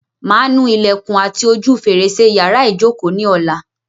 Màá nu ilẹ̀kùn àti ojú fèrèsé yàrá ìjokòó ni ọ̀la.